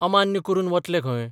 अमान्य करून बतले खंय?